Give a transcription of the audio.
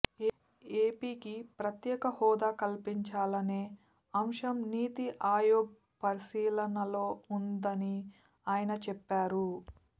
ఏపీకి ప్రత్యేక హోదా కల్పించాలనే అంశం నీతి ఆయోగ్ పరిశీలనలో ఉందని ఆయన చెప్పారు